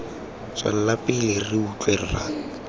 tswela pele re utlwe rra